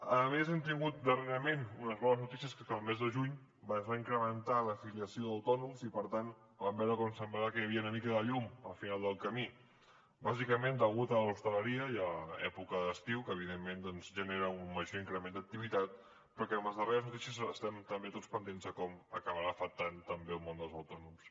a més hem tingut darrerament unes bones notícies que són que el mes de juny es va incrementar l’afiliació d’autònoms i per tant vam veure com semblava que hi havia una mica de llum al final del camí bàsicament degut a l’hostaleria i a l’època d’estiu que evidentment doncs genera un major increment d’activitat però que amb les darreres notícies estem també tots pendents de com acabarà afectant també el món dels autònoms